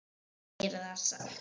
En hann gerir það samt.